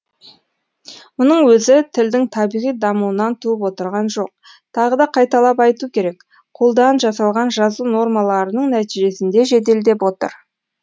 мұның өзі тілдің табиғи дамуынан туып отырған жоқ тағы да қайталап айту керек қолдан жасалған жазу нормаларының нәтижесінде жеделдеп отыр